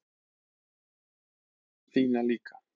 Ég þekki þína líka.